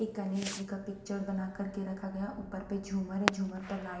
एक गणेश जी का पिक्चर बना कर के रखा गया ऊपर पे झूमर है झूमर पर लाइट --